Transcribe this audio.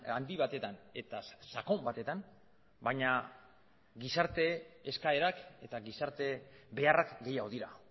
handi batetan eta sakon batetan baina gizarte eskaerak eta gizarte beharrak gehiago dira